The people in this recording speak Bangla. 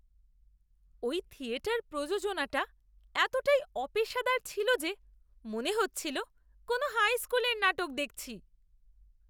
ওই থিয়েটার প্রযোজনাটা এতটাই অপেশাদার ছিল যে মনে হচ্ছিল কোনো হাই স্কুলের নাটক দেখছি!